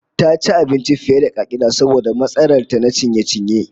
Ta ci abinci fiye da ka'ida saboda matsalar ta kenan ciye-ciye